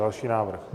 Další návrh?